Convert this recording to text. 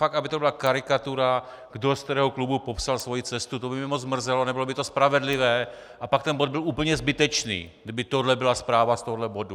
Fakt, aby to byla karikatura, kdo z kterého klubu popsal svoji cestu, to by mě moc mrzelo, nebylo by to spravedlivé a pak ten bod byl úplně zbytečný, kdyby tohle byla zpráva z tohoto bodu.